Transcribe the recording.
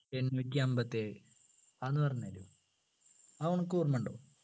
എണ്ണൂറ്റിഅമ്പത്തിയേഴു അതൊന്നു പറഞ്ഞു തരുമോ അത് അനക്ക് ഓർമ്മയുണ്ടോ